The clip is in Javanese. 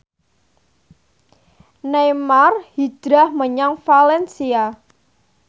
Neymar hijrah menyang valencia